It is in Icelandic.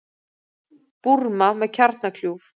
Búrma með kjarnakljúf